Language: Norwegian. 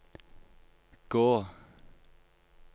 gå